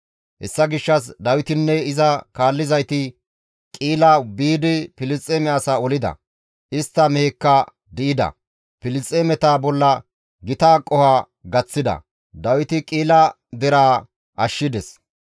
Hessa gishshas Dawitinne iza kaallizayti Qi7ila biidi Filisxeeme asaa olida; istta mehekka di7ida; Filisxeemeta bolla gita qoho gaththida; Dawiti Qi7ila deraa ashshides.